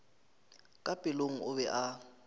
ka pelong o be a